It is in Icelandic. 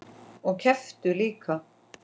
Og kepptu líka.